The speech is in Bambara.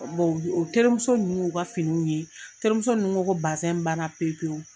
Bon o u terimuso ninnu y'u ka finiw ye terimuso ninnu ko ko bazin banna pe pe u